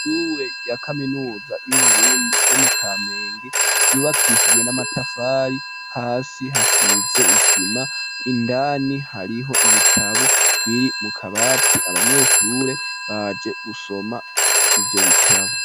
Ishure rya kaminuza yu Burundi yo mu kamenge ryubakishijwe n'amatafari hasi hasize isima indani hariho ibitabo biri mu kabati abanyeshure baje gusoma ivyo bitabo.